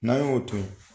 N'an y'o to ye